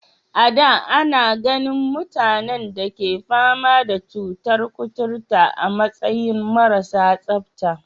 A da, ana ganin mutanen da ke fama da cutar kuturta a matsayin marasa tsabta.